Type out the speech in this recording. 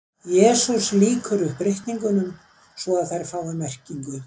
Jesús lýkur upp ritningunum svo að þær fá merkingu.